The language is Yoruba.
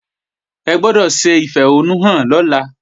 Ẹ gbọ́dọ̀ ṣe ìfẹ̀hónúhàn lọ́la!